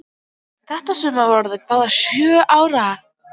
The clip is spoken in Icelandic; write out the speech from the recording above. Þetta sumar voru þær báðar sjö ára.